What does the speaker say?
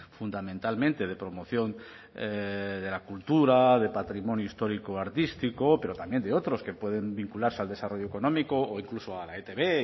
fundamentalmente de promoción de la cultura de patrimonio histórico artístico pero también de otros que pueden vincularse al desarrollo económico o incluso a la etb